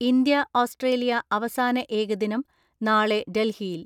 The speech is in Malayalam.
ഇന്ത്യ ഓസ്ട്രേലിയ അവസാന ഏകദിനം നാളെ ഡൽഹിയിൽ.